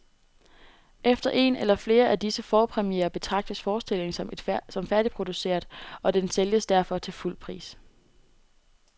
Efter en eller flere af disse forpremierer betragtes forestillingen som færdigproduceret, og den sælges derfor til fuld pris.